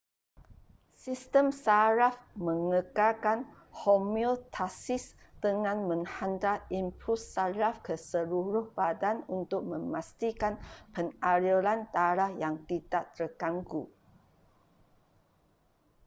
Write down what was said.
sistem saraf mengekalkan homeostasis dengan menghantar impuls saraf ke seluruh badan untuk memastikan pengaliran darah yang tidak terganggu